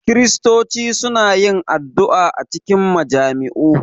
Kiristoci suna yin addu’a a cikin majami’u